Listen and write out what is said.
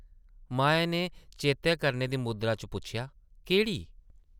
माया नै चेतै करने दी मुद्रा च पुच्छेआ, ‘‘केह्ड़ी?’’